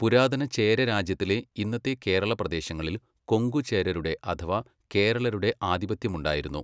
പുരാതന ചേര രാജ്യത്തിലെ ഇന്നത്തെ കേരള പ്രദേശങ്ങളിൽ കൊങ്കു ചേരരുടെ അഥവാ കേരളരുടെ ആധിപത്യമുണ്ടായിരുന്നു.